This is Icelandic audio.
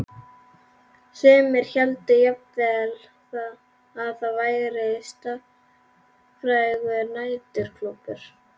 Sumir héldu jafnvel að þar væri starfræktur næturklúbbur.